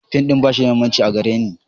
Fim ɗin ba shi da mahimmanci a gare ni.